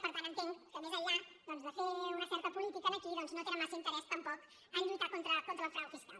per tant entenc que més enllà de fer una certa política aquí doncs no tenen massa interès tampoc a lluitar contra el frau fiscal